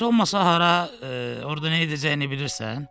Bəs heç olmasa hara, orada nə edəcəyini bilirsən?